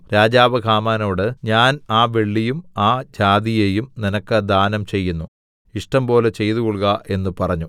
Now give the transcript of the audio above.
രാജാവ് ഹാമാനോട് ഞാൻ ആ വെള്ളിയും ആ ജാതിയെയും നിനക്ക് ദാനം ചെയ്യുന്നു ഇഷ്ടംപോലെ ചെയ്തുകൊൾക എന്ന് പറഞ്ഞു